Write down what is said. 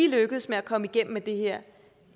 lykkes med at komme igennem med det her